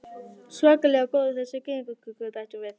Svakalega góðar þessar gyðingakökur, bætti hún við.